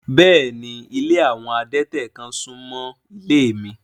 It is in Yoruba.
Bẹ́ẹ̀ni, ilé awọn adẹ̀tẹ̀ kan sún mọ́ ilé mi